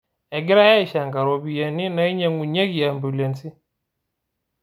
Egirai ashanga ropiyani nainyang'unyikie ambiulensi